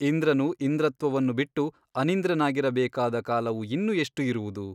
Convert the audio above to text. ಇಂದ್ರನು ಇಂದ್ರತ್ವವನ್ನು ಬಿಟ್ಟು ಅನಿಂದ್ರನಾಗಿರಬೇಕಾದ ಕಾಲವು ಇನ್ನು ಎಷ್ಟು ಇರುವುದು ?